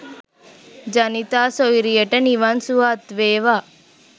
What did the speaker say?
ජනිතා සොයුරියට නිවන් සුව අත් වේවා